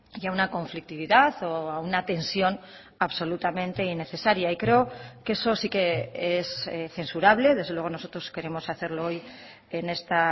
y a una conflictividad o a una tensión absolutamente innecesaria y creo que eso sí que es censurable desde luego nosotros queremos hacerlo hoy en esta